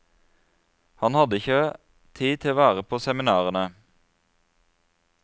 Han hadde ikke tid til å være på seminarene.